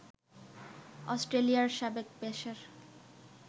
অস্ট্রেলিয়ার সাবেক পেসার